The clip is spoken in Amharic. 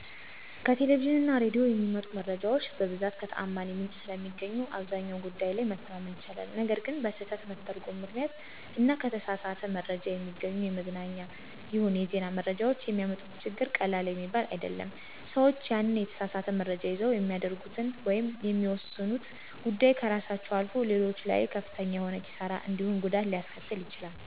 ከቴሌቪዥን እና ሬዲዮ የሚመጡ መረጃዎች በብዛት ከተዓማኒ ምንጭ ስለሚገኙ አብዛኛው ጉዳይ ላይ መተማመን ይቻላል። ነገር ግን በስህተት መተርጐም ምክንያት እና ከተሳሳት መረጃ የሚገኙ የመዝናኛም ይሁን የዜና መረጃዎች የሚያመጡት ችግር ቀላል የሚባል አይደለም። ሰዎች ያንን የተሳሳት መረጃ ይዘው የሚያደርጉት ወይም የሚወስኑት ጉዳይ ከራሳቸው አልፎ ሌሎች ላይም ከፍተኛ የሆነ ኪሣራ እንዲሁም ጉዳት ሊያስከትሉ ይችላሉ።